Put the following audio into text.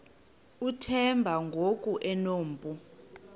uthemba ngoku enompu